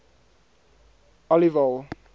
aliwal